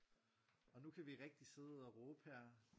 Og nu kan vi rigtigt sidde og råbe her